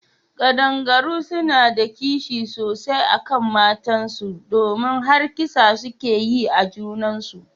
Kadangaru suna da kishi sosai akan matan su domin har kisa suke yi a junan su.